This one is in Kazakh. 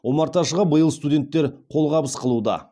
омарташыға биыл студенттер қолғабыс қылуда